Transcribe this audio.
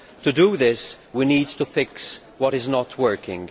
To do this, we need to fix what is not working.